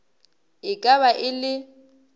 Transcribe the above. e ka ba e le